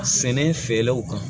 Sɛnɛ feerelaw kan